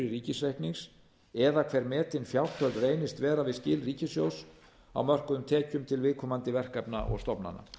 ríkisreiknings eða hver metin fjárþörf reyndist vera við skil ríkissjóðs mörkuðum tekjum til viðkomandi verkefna og stofnana